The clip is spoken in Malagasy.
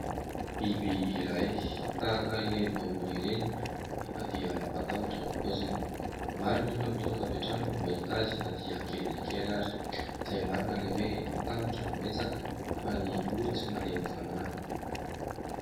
Biby iray, tahaka ireny vongory ireny anefa dia mampatahotra ny poziny. Maro ny olona mitsoaka avy hatrany vao mahita azy na dia kely dia kely ary izay marina ilay hoe : "ny tahotra no betsaka fa ny ory tsy malemy fanahy" .